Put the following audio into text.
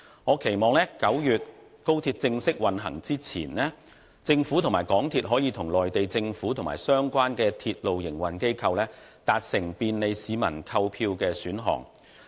我期望在9月高鐵正式運行前，政府及港鐵公司可與內地政府及相關鐵路營運機構達成便利市民的購票選項。